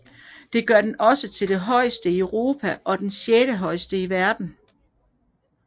Det gør den også til det højeste i Europa og det sjettehøjeste i verden